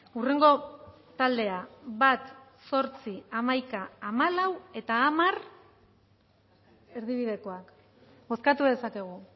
hurrengo taldea bat zortzi hamaika hamalau eta hamar erdibidekoak bozkatu dezakegu